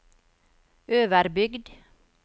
Øverbygd